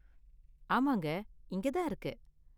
ஆமாங்க இங்க தான் இருக்கு.